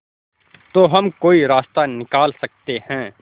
तो हम कोई रास्ता निकाल सकते है